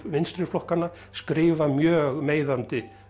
vinstri flokkanna skrifa mjög meiðandi